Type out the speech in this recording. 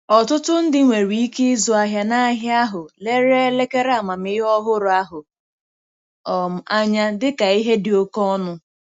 Ọtụtụ ndị nwere ike ịzụ ahịa n'ahịa ahụ lere elekere amamihe ọhụrụ ahụ um anya dịka ihe dị oke ọnụ.